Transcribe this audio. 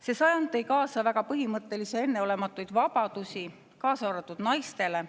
See sajand tõi kaasa väga põhimõttelisi ja enneolematuid vabadusi, kaasa arvatud naistele.